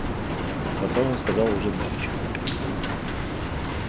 потом он сказал уже мягче